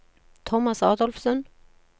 Thomas Adolfsen